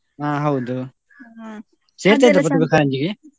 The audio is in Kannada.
ಹಾ ಹೌದು ಪ್ರತಿಭಾ ಕಾರಂಜಿಗೆ?